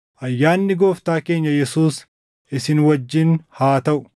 Ayyaanni Gooftaa keenya Yesuus isin wajjin haa taʼu.